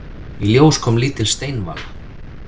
Í ljós kom lítil steinvala.